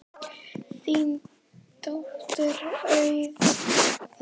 Þín dóttir Auður.